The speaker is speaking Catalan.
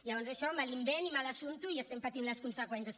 llavors això mal invent i mal assumpte i n’estem patint les conseqüències